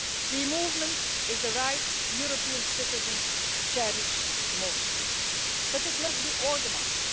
Free movement is the right that European citizens cherish most, but it must be organised.